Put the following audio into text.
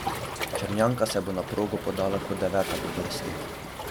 Črnjanka se bo na progo podala kot deveta po vrsti.